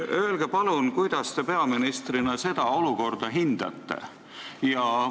Öelge palun, kuidas te peaministrina seda olukorda hindate?